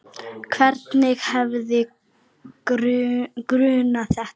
Hvern hefði grunað þetta?